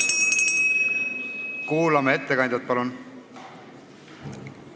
Kuulame ettekandjat, palun!